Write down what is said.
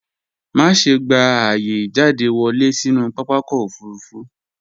Má ṣe gba ààyè ìjáde wọlé sínú pápakọ̀ òfurufú